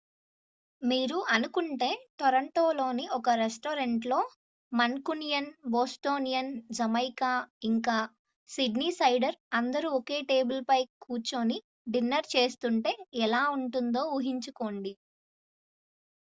మీరు అనుకుంటే టోర్రొంటోలోని ఒక రెస్టారెంట్లో మన్కునియన్ బోస్టోనియన్ జమైకా ఇంకా సిడ్నీసైడర్ అందరూ ఒకే టేబుల్పై కూర్చొని డిన్నర్ చేస్తుంటే ఎలా ఉంటుందో ఊహించుకోండి